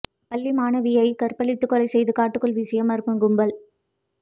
பள்ளி மாணவியை கற்பழித்துக் கொலை செய்து காட்டுக்குள் வீசிய மர்ம கும்பல்